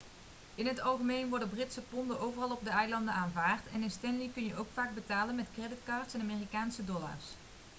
in het algemeen worden britse ponden overal op de eilanden aanvaard en in stanley kun je ook vaak betalen met creditcards en amerikaanse dollars